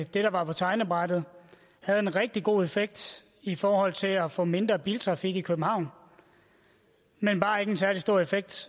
der var på tegnebrættet havde en rigtig god effekt i forhold til at få mindre biltrafik i københavn men bare ikke en særlig stor effekt